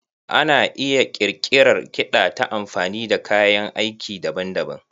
Ana iya ƙirƙirar kiɗa ta amfani da kayan aiki daban-daban.